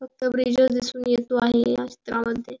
फक्त ब्रिज च दिसून येतो आहे या चित्रामध्ये.